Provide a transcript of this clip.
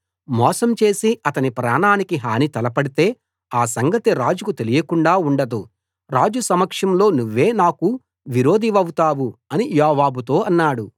మోసం చేసి అతని ప్రాణానికి హాని తలపెడితే ఆ సంగతి రాజుకు తెలియకుండా ఉండదు రాజు సమక్షంలో నువ్వే నాకు విరోధివౌతావు అని యోవాబుతో అన్నాడు